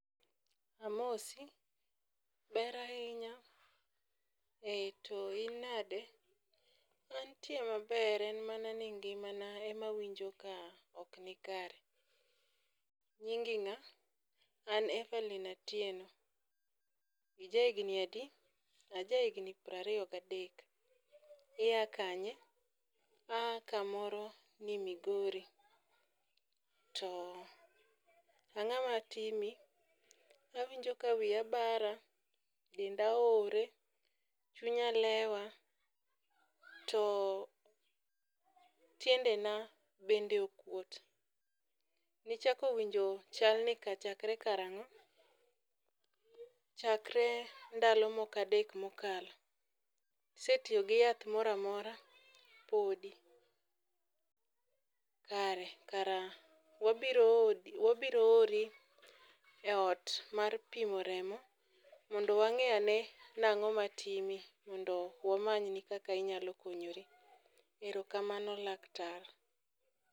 Amosi. Ber ahinya. Ee to in nade? Antie maber en mana ni ngimana ema awinjo ka ok ni kare. Nyingi ngá? An Everline Atieno. Ija higni adi? Aja higni piero ariyo gi adek. Iya kanye? Aa kamoro ni Migori. To angó matimi? Awinjo ka wiya bara, denda oore, chunya lewa, to tiendena bende okwot. Nichako winjo chalni chakre kar ango? Chakre ndalo moko adek mokalo. Isetiyo gi yath moramora? Podi. Kare, kara wabiro odi, wabiro ori e ot mar pimo remo mondo wangé ane ni ango matimi, mondo wamanyni kaka inyalo konyori. Erokamano laktar.